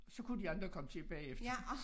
Så kunne de andre komme til bagefter